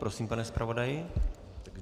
Prosím, pane zpravodaji.